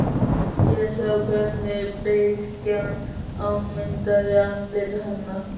Og sé hvernig beiskjan afmyndar andlit hennar.